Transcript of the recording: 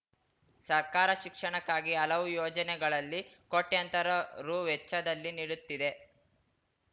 ಸರ್ಕಾರ ಶಿಕ್ಷಣಕ್ಕಾಗಿ ಹಲವು ಯೋಜನೆಗಳಲ್ಲಿ ಕೋಟ್ಯಾಂತರ ರು ವೆಚ್ಚದಲ್ಲಿ ನೀಡುತ್ತಿದೆ